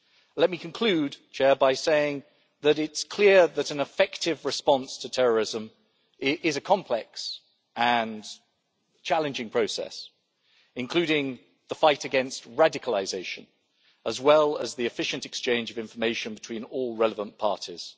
Let me conclude, Mr President, by saying it is clear that an effective response to terrorism is a complex and challenging process, which includes the fight against radicalisation as well as the efficient exchange of information between all relevant parties.